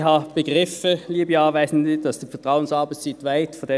Ich habe begriffen, liebe Anwesende, dass Sie die Vertrauensarbeitszeit wollen.